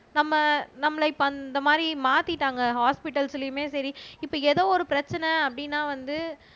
நம்ம நம்மளை இப்ப அந்த மாதிரி மாத்திட்டாங்க ஹொஸ்பிடல்ஸ்லயுமே சரி இப்ப ஏதோ ஒரு பிரச்சனை அப்படின்னா வந்து